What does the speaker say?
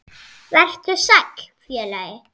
Vertu sæll, félagi.